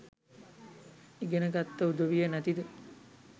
ඉගෙන ගත්ත උදවිය නැතිද?